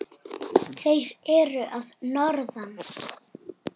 Þeir eru að norðan.